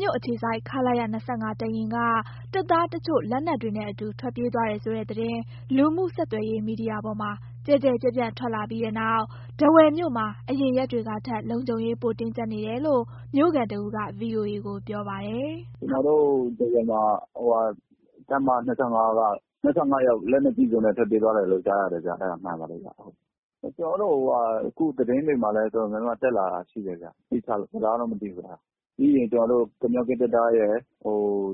မြို့အခြေစိုက် ခလရ တပ်ရင်းက တပ်သားတချို့ လက်နက်တွေနဲ့အတူ ထွက်ပြေးသွားတယ်ဆိုတဲ့သတင်း လူမှုဆက်သွယ်ရေးမီဒီယာပေါ်မှာ ကျယ်ကျယ်ပြန့်ပြန့် ထွက်လာပြီးတဲ့နောက် ထားဝယ်မြို့မှာ အရင်ရက်တွေကထက် လုံခြုံရေး ပိုတင်းကျပ်နေတယ်လို့ မြို့ခံတဦးက ဗွီအိုအေကိုပြောပါတယ်။ “ကျနော်တို့ ထားဝယ်မှာ ဟိုဟာ တပ်မ ၂၅ က ၂၅ ယောက်က လက်နက်ကျည်နဲ့ ထွက်ပြေးသွားတယ်လို့ ကြားရတယ်ဗျ၊ ကျနော်တို့ အခုသတင်းတွေမှာလည်း တော်တော်တက်လာတာရှိတယ်ဗျ သေချာသလားတော့ မဟုတ်ဘူး အဲ့ဒါ၊ ပြီးရင် ကျနော်တို့ ကမြောကင်းတံတားရယ်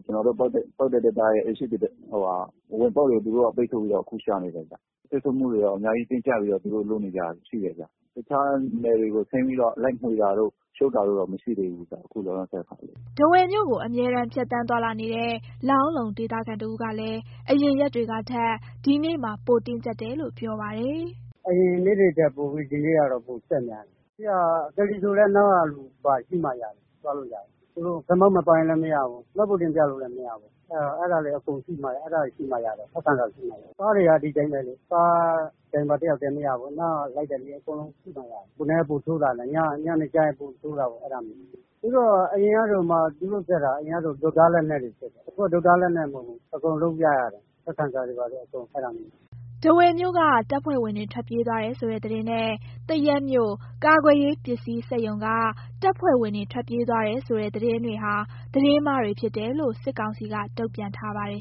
ကျနော်တို့ ပေါက်တိုင်းတံတားရယ် အိမ်ရှေ့ပြင်တံတား ဟိုဟာ အဝင်ပေါက်တွေ သူတို့ ပိတ်ဆို့ပြီးတော့ အခုရှာနေတယ်ဗျ။ ပိတ်ဆို့မှုတွေ အများကြီးတင်းကြပ်ပြီး သူတို့လုပ်နေကြတာ ရှိတယ်ဗျ။ တခြားနယ်တွေကို ဆင်းပြီးတော့ လိုက်မွှေတာတို့ ၊ချုပ်တာတို့ မရှိသေးဘူး။” ထားဝယ်မြို့ကို အမြဲတမ်း ဖြတ်သန်းသွားလာနေတဲ့ လောင်းလုံဒေသခံတစ်ဦးကလည်း အရင်ရက်တွေကထက် ဒီနေ့မှာ ပိုတင်းကြပ်တယ်လို့ပြောပါတယ်။ “အရင်နေ့တွေထက် ပိုပြီး ဒီနေ့က ပိုအစစ်များတယ်၊ သက္ကစီးဆိုလည်း အနောက်ကလူ ပါရှိမှ ရမယ် သွားလို့ရမယ်၊ ခမောက် မပါလည်းမရဘူး မှတ်ပုံတင်ပြလို့လည်း မရဘူး၊ အဲ့ဒါတွေရှိမှရတယ် ထောက်ခံစာတွေ ရှိမှရတယ်၊ ကားတွေကလည်း ဒီတိုင်းပဲလေး ကားမောင်းသူတစ်ယောက်ထဲ ရှိတာမရဘူး အနောက်က လိုက်တဲ့လူ အကုန်လုံးရှိမှရတယ်၊ အခုနည်းနည်းပိုဆိုးလာတယ် ညနေကျရင် ပိုဆိုးတာပေါ့ အဲ့ဒါမျိုးတွေ၊ သူတို့ အရင်ကဆိုရင် သူတို့ တုတ်၊ ဓား လက်နက်တွေ စစ်တယ်။ အခုက တုတ်၊ ဓား လက်နက်မဟုတ်ဘူး အကုန်လုံးပြရတယ်။ ထောက်ခံစာတွေ ဘာတွေအကုန်အစုံ အဲ့ဒါမျိုးတွေ။” ထားဝယ်မြို့က တပ်ဖွဲ့ဝင်တွေ ထွက်ပြေးတယ်ဆိုတဲ့သတင်းနဲ့ သရက်မြို့၊ ကာကွယ်ရေးပစ္စည်းစက်ရုံက တပ်ဖွဲ့ဝင်တွေ ထွက်ပြေးတယ်ဆိုတဲ့သတင်းတွေဟာ သတင်းမှားတွေဖြစ်တယ်လို့ စစ်ကောင်စီက တုံ့ပြန်ထားပါတယ်